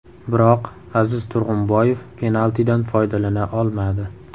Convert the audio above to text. Biroq Aziz Turg‘unboyev penaltidan foydalana olmadi.